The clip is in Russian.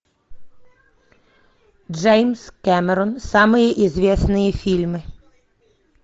джеймс кэмерон самые известные фильмы